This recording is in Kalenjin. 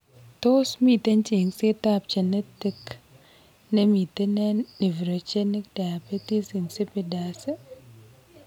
Tos miten cheng'seet ab genetic nemiten eng' neophrogenic diabetes insipidus?